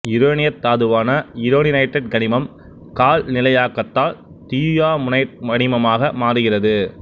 யுரேனியத் தாதுவான யுரேனினைட்டு கனிமம் கால்நிலையாக்கத்தால் தியுயாமுனைட்டு கனிமமாக மாறுகிறது